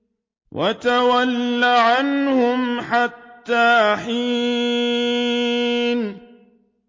وَتَوَلَّ عَنْهُمْ حَتَّىٰ حِينٍ